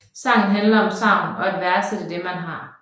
Sangen handler om savn og at værdsætte det man har